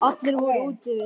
Allir voru úti við.